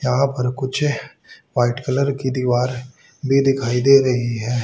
यहां पर कुछ व्हाईट कलर की दीवार भी दिखाई दे रही है।